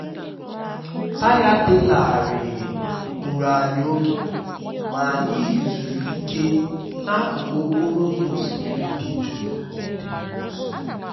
taya dị larịị gburu anyi oge ma anyị yzuru ike n'akụkụ okporo ụzọ osimiri dị jụụ dị nso